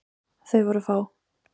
Þau voru fá.